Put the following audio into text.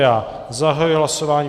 Já zahajuji hlasování.